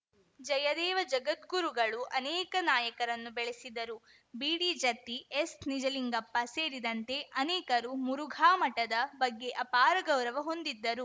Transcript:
ಜಯದೇವ ಜಗದ್ಗುರುಗಳು ಅನೇಕ ನಾಯಕರನ್ನು ಬೆಳೆಸಿದರು ಬಿಡಿಜತ್ತಿ ಎಸ್‌ನಿಜಲಿಂಗಪ್ಪ ಸೇರಿದಂತೆ ಅನೇಕರು ಮುರುಘಾ ಮಠದ ಬಗ್ಗೆ ಅಪಾರ ಗೌರವ ಹೊಂದಿದ್ದರು